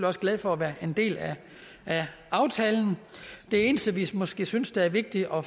også glade for at være en del af aftalen det eneste vi måske synes det er vigtigt at